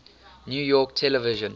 new york television